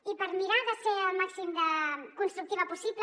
i per mirar de ser al màxim de constructiva possible